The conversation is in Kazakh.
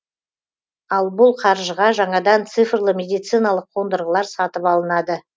ал бұл қаржыға жаңадан цифрлы медициналық қондырғылар сатып алынады